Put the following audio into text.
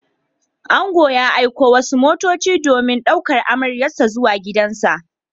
Ango ya aiko wasu motoci domin ɗaukan amaryarsa zuwa gidansa.